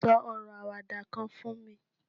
so oro awada kan fún mi